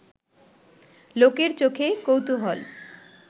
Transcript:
লোকের চোখে কৌতূহল